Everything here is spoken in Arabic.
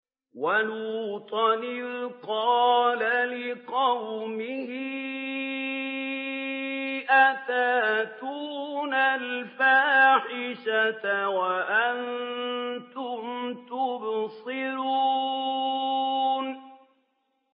وَلُوطًا إِذْ قَالَ لِقَوْمِهِ أَتَأْتُونَ الْفَاحِشَةَ وَأَنتُمْ تُبْصِرُونَ